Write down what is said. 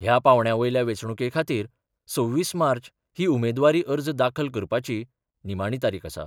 ह्या पांवड्या वयल्या वेंचणुके खातीर २६ मार्च ही उमेदवारी अर्ज दाखल करपाची निमाणी तारीख आसा.